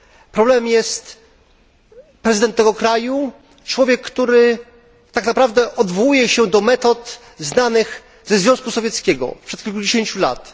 Problemem jest prezydent tego kraju, człowiek, który odwołuje się do metod znanych ze Związku Sowieckiego sprzed kilkudziesięciu lat.